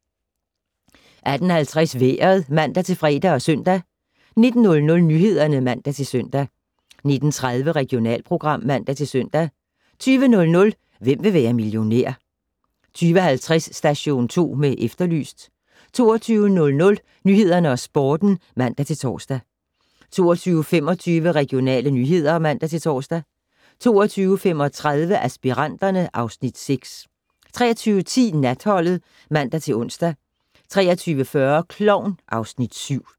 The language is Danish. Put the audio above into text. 18:50: Vejret (man-fre og søn) 19:00: Nyhederne (man-søn) 19:30: Regionalprogram (man-søn) 20:00: Hvem vil være millionær? 20:50: Station 2 med Efterlyst 22:00: Nyhederne og Sporten (man-tor) 22:25: Regionale nyheder (man-tor) 22:35: Aspiranterne (Afs. 6) 23:10: Natholdet (man-ons) 23:40: Klovn (Afs. 7)